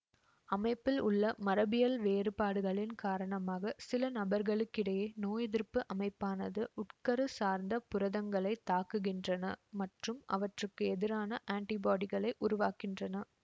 அமைப்பில் உள்ள மரபியல் வேறுபாடுகளின் காரணமாக சில நபர்களிடையே நோய் எதிர்ப்பு அமைப்பானது உட்கரு சார்ந்த புரதங்களைத் தாக்குகின்றன மற்றும் அவற்றுக்கு எதிரான ஆன்டிபாடிகளை உருவாக்கின்றன